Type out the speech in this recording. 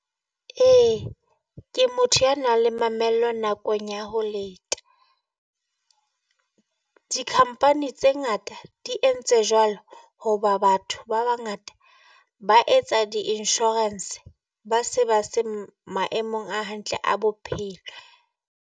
E ke motho y nang le mamello nakong ya ho leta. Di-company tse ngata di entse jwalo hoba batho ba bangata ba etsa di-insurance, ba se ba se maemong a hantle a bophelo.